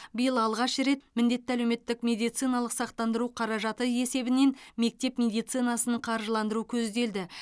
биыл алғаш рет міндетті әлеуметтік медициналық сақтандыру қаражаты есебінен мектеп медицинасын қаржыландыру көзделді